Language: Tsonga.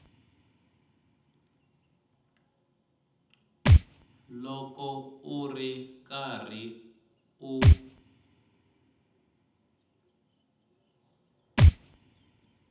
loko u ri karhi u